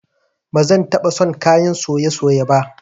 Ba zan taba son kayan soye-soye ba